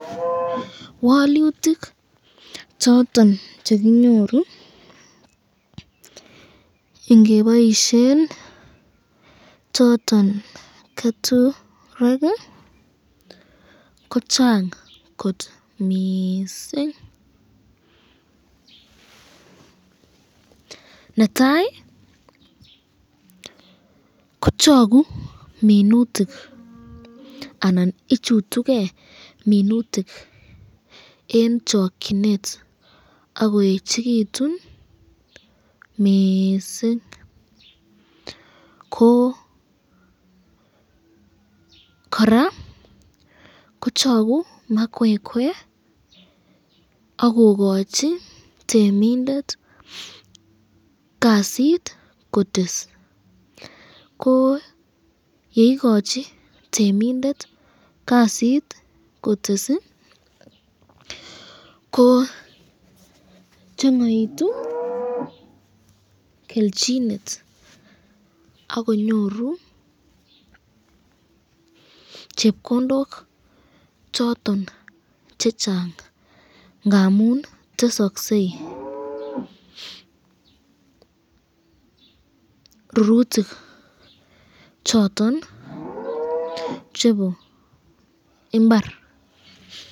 walutik choton chekinyoru yekiboisyen choton keturek ko chang kot mising, netai ko choku minutik anan ichutuke minutik eng chakyinet akoechikitun mising, ko koraa kochaku makwekwe akokochi temindet kasit kotes, ko yeikachi temindet kasit kotes ko changaitu kelchinet ak konyoru chepkondok choton chechang ngamun tesakse rurutik choton chebo imbar.